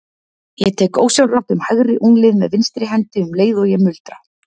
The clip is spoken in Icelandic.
Ég tek ósjálfrátt um hægri úlnlið með vinstri hendi um leið og ég muldra